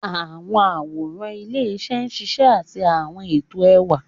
Àwọn àwòrán ilé-iṣẹ́ ń ṣiṣẹ́ àti àwọn ètò ẹwà.